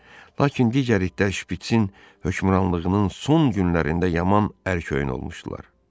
Lakin digər itlər Şpitsin hökmranlığının son günlərində yaman ərköyün olmuşdular.